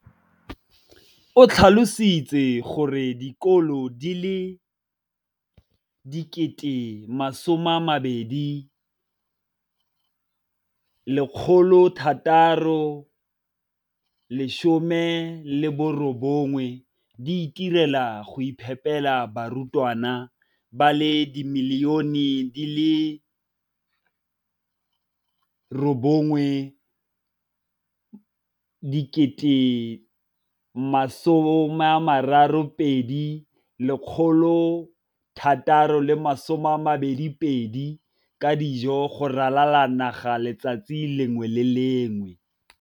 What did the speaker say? O tlhalositse gore dikolo di le 20 619 di itirela le go iphepela barutwana ba le 9 032 622 ka dijo go ralala naga letsatsi le lengwe le le lengwe.